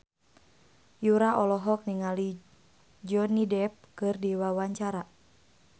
Yura olohok ningali Johnny Depp keur diwawancara